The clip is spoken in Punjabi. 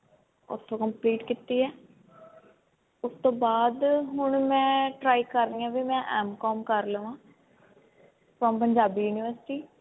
ਉੱਥੋਂ complete ਕੀਤੀ ਹੈ ਉਸ ਤੋਂ ਬਾਅਦ ਹੁਣ ਮੈਂ try ਕਰ ਰਹੀ ਹਾਂ ਬੀ ਮੈਂ M COM ਕਰ ਲਵਾਂ from ਪੰਜਾਬੀ ਯੂਨਿਵਰਸਿਟੀ